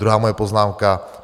Druhá moje poznámka.